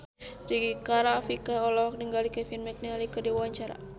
Rika Rafika olohok ningali Kevin McNally keur diwawancara